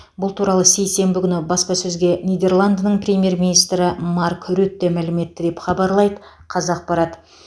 бұл туралы сейсенбі күні баспасөзге нидерландының премьер министрі марк рютте мәлім етті деп хабарлайды қазақпарат